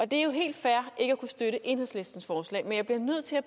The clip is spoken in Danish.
det er jo helt fair ikke at kunne støtte enhedslistens forslag men jeg bliver nødt til at